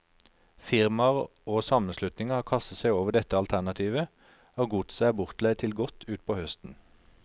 Firmaer og sammenslutninger har kastet seg over dette alternativet, og godset er bortleid til godt utpå høsten.